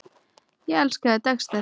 Ég elskaði Dexter.